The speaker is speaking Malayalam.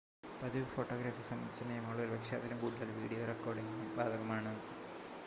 പതിവ് ഫോട്ടോഗ്രാഫി സംബന്ധിച്ച നിയമങ്ങൾ ഒരുപക്ഷെ അതിലും കൂടുതൽ വീഡിയോ റെക്കോർഡിംഗിനും ബാധകമാണ്